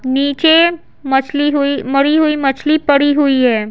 नीचे मछली हुई मरी हुई मछली पड़ी हुई है।